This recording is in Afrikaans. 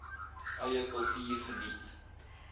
eie kultuur geniet